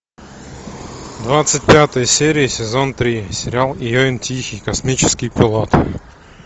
двадцать пятая серия сезон три сериал ийон тихий космический пилот